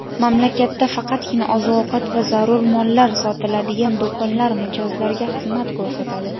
Mamlakatda faqatgina oziq-ovqat va zarur mollar sotiladigan do‘konlar mijozlarga xizmat ko‘rsatadi.